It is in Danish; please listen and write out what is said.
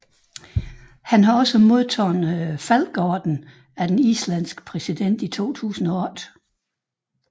Han har også modtaget Falkeordenen af den islandske præsident i 2008